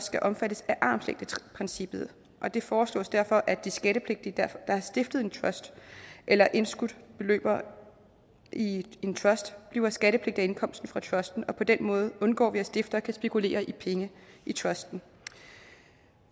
skal omfattes af armslængdeprincippet og det foreslås derfor at de skattepligtige der har stiftet en trust eller indskudt beløb i en trust bliver skattepligtige af indkomsten fra trusten og på den måde undgår vi at stiftere kan spekulere i penge i trusten